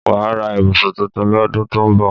Wàá ra ibùsùn tuntun lọ́dún tó ń bọ̀